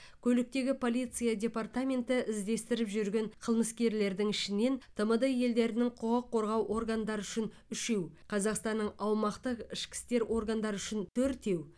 көліктегі полиция департаменті іздестіріп жүрген қылмыскерлердің ішінен тмд елдерінің құқық қорғау органдары үшін үшеу қазақстанның аумақтық ішкі істер органдары үшін төртеу